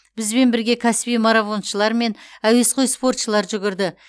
бізбен бірге кәсіби марафоншылар мен әуесқой спортшылар жүгірді